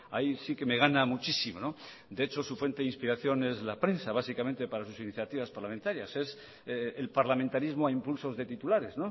ahí sí que me gana muchísimo de hecho su fuente de inspiración es la prensa básicamente para sus iniciativas parlamentarias es el parlamentarismo a impulsos de titulares